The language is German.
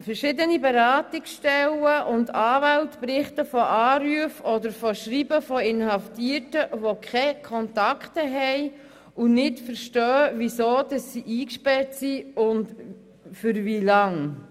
Verschiedene Beratungsstellen und Anwälte berichten von Anrufen und schreiben von Inhaftierten, die keine Kontakte haben und nicht verstehen, warum und für wie lange sie eingesperrt wurden.